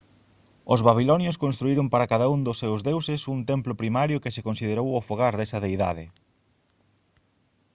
os babilonios construíron para cada un dos seus deuses un templo primario que se considerou o fogar desa deidade